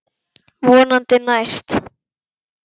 Vonandi næst.